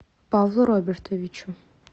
павлу робертовичу